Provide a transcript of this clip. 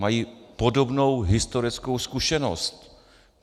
Mají podobnou historickou zkušenost.